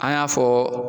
An y'a fɔ